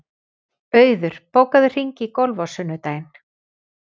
Auður, bókaðu hring í golf á sunnudaginn.